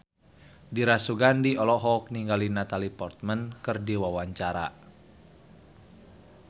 Dira Sugandi olohok ningali Natalie Portman keur diwawancara